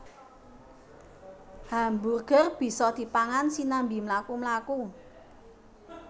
Hamburger bisa dipangan sinambi mlaku mlaku